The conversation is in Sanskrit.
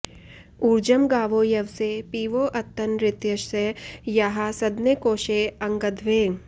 ऊर्जं गावो यवसे पीवो अत्तन ऋतस्य याः सदने कोशे अङ्ग्ध्वे